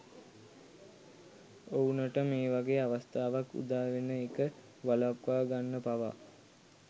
ඔවුනට මේ වගේ අවස්ථාවක් උදා වෙන එක වළක්වගන්න පවා